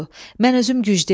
Mən özüm güclüyəm.